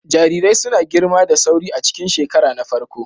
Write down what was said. Jarirai suna girma da sauri a cikin shekara na farko.